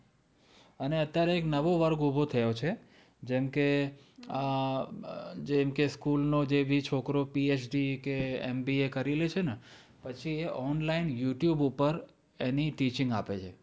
અને અત્યારે એક નવો વર્ગ ઉભો થયો છે. જેમ કે જેમ કે school નો જે ભી છોકરો PhD કે MBA કરી લે છે ને પછી એ online youtube ઉપર એની teaching આપે છે.